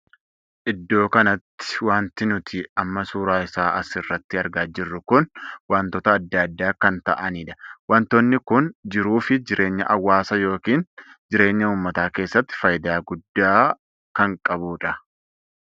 Iddoo kanatti wanti nuti amma suuraa isaa as irratti argaa jirru kun wantoota addaa addaa kan taa'aniidha. wantoonni kun jiruu fi jireenya hawaasaa ykn jireenya uummataa keessatti faayidaa guddaa kan qabudha.